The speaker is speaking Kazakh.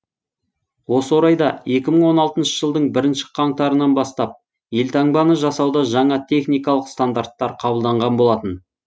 осы орайда екі мың он алтыншы жылдың бірінші қаңтарынан бастап елтаңбаны жасауда жаңа техникалық стандарттар қабылданған болатын